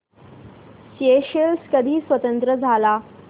Seychelles कधी स्वतंत्र झाला